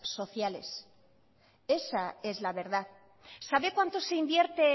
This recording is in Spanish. sociales esa es la verdad sabe cuánto se invierte